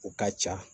O ka ca